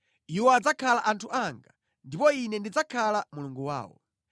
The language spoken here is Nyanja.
Iwo adzakhala anthu anga, ndipo Ine ndidzakhala Mulungu wawo.